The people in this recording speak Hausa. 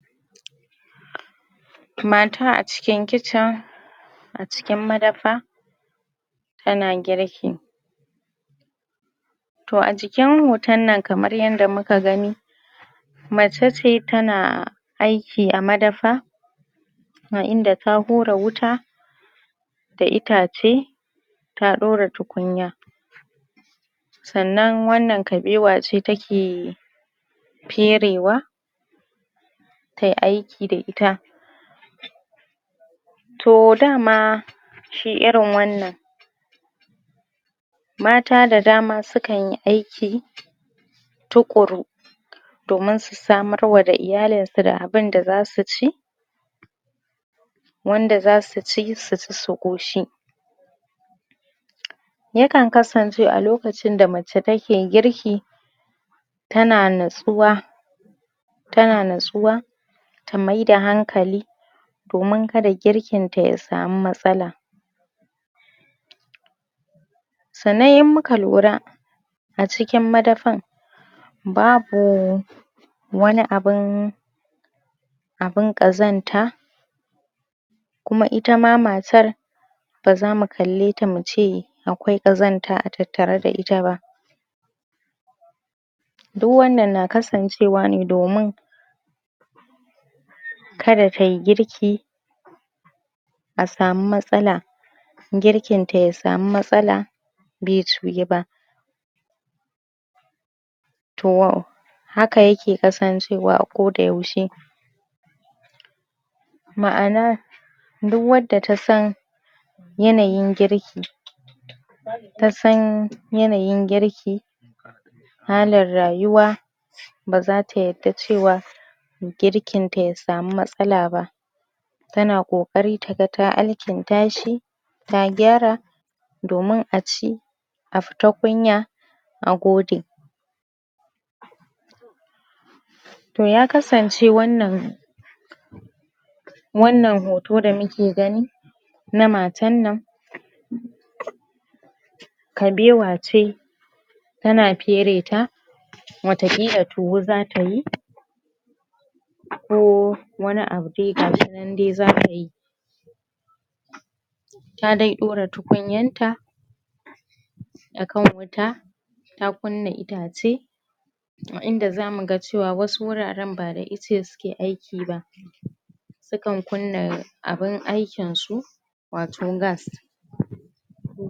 Mata a cikin kicin A cikin madafa Tana girki Toh a jikin hoton nan kamar yadda muka gani Mace ce tana aiki a madafa A inda da hura wuta Da itace da ɗora tukunya Sannan wannan kabewa ce ta ke Ferewa Ta yi aiki da ita Toh dama, shi irin wannan Mata da dama su kan yi aiki Tuƙuru Domin su samarwa da iyalin su da abin da za su ci Wanda zasu ci su ƙoshi Ya kan kasance a lokacin da mace take girki Tana natsuwa Ta na natsuwa Ta mai da hankali, domin kada girkin ta ya samu matsala Sannan in muka lura A cikin madafan, babu wani abun... Abun ƙazanta Kuma ita ma matar Ba za mu kalle ta mu ce akwai ƙazanta a tattare da ita ba Duk wannan na kasancewa ne domin Kada ta yi girki A samu matsala Girkin ta ya samu matsala bai ciyu ba Haka ya ke kasancewa a ko da yaushe Ma'ana, duk wanda da ta san yanayin girki Ta san yanayin girki Halar rayuwa Ba za ta yadda cewa Girkin ta ya samu matsala ba Tana ƙoƙari ta ga ta alkinta shi Ta gyara, domin a ci, a fita kunya, a gode Toh ya kasance wannan Wannan hoto da muke gani, na matan nan Kabewa ce, tana fere ta Wataƙila tuwo za ta yi Ko wani abu dai, gashi nan dai za ta yi Ta dai ɗora tukunyanta A kan wuta, ta kunna itace A inda zamu ga cewa wasu wuraren, ba da ice su ke aiki ba Su kan kunna abun aikin su, wato gas.